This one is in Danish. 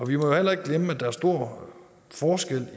vi må jo heller ikke glemme at der er stor forskel